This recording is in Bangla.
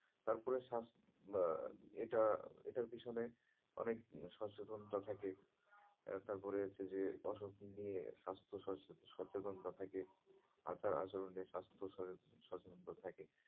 তারপরে স্বাস্থ্য আহ এটা, এটার পেছনে অনেক সচেনতা থাকে তারপরে হচ্ছে যে ওসব নিয়ে স্বাস্থ্য সচেতনতা থাকে আচার আচরন নিয়ে স্বাস্থ্য সচেতনতা থাকে